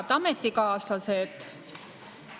Head ametikaaslased!